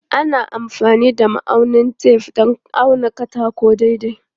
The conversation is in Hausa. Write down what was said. Ana amfani da ma'aunin tef don auna katako daidai.